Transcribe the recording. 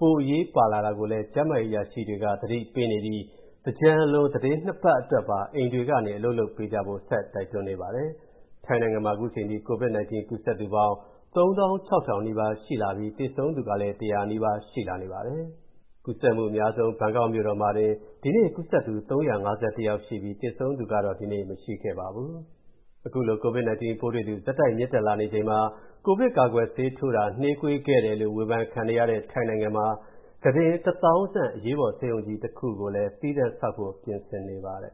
ပိုအရေးပါလာတာကိုလည်း ကျန်းမာရေးအရာရှိတွေက သတိပေးနေပြီး သင်္ကြန်အလွန် သီတင်းပတ် ၂ ပတ်အတွက်ပါ အိမ်တွေကနေ အလုပ်လုပ်ပေးကြဖို့ ဆက်တိုက်တွန်းနေပါတယ်။ ထိုင်းနိုင်ငံမှာ အခုအချိန်ထိ COVID-19 ကူးစက်သူပေါင်း ၃၆,၀၀၀ နီးပါးရှိလာပြီး သေဆုံးသူကလည်း ၁၀၀ နီးပါးရှိနေပါတယ်။ ကူးစက်မှုအများဆုံး ဘန်ကောက်မြို့တော်မှာတင် ဒီနေ့ ကူးစက်သူ ၃၅၁ ယောက်ရှိပြီး သေဆုံးသူတော့ ဒီနေ့ မရှိခဲ့ပါဘူး။ အခုလိုကိုဗစ်-19 ပိုးတွေ့သူ ဆက်တိုက်မြင့်တက်လာချိန်မှာ ကိုဗစ်ကာကွယ်ဆေးထိုးတာ နှေးကွေးခဲ့တယ်လို့ ဝေဖန်ခံနေရတဲ့ ထိုင်းနိုင်ငံမှာ ကုတင် ၁၀,၀၀၀ ဆန့် အရေးပေါ်ဆေးရုံကြီးတစ်ခု သီးသန့်တည်ဆောက်ဖို့ ပြင်ဆင်နေပါတယ်